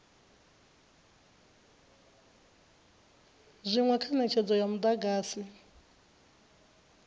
zwinwe kha netshedzo ya mudagasi